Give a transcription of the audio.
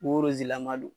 Koroze lama don